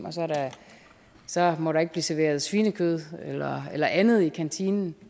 så må der ikke blive serveret svinekød eller andet i kantinen